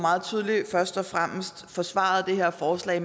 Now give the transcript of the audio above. forsvaret det her forslag